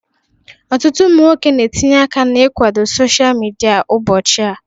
Ọtụtụ ụmụ nwoke na-etinye aka na ikwado sosha midia ụbọchị a.